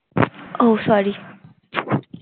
ও sorry